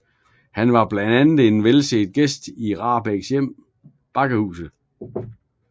Han var blandt andet en velset gæst i Rahbeks hjem Bakkehuset